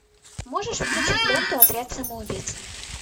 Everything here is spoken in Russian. можешь включить ленту отряд самоубийц